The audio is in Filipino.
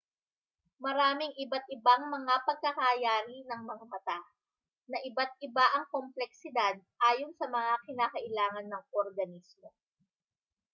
maraming iba't-ibang mga pagkakayari ng mga mata na iba't-iba ang kompleksidad ayon sa mga kinakailangan ng organismo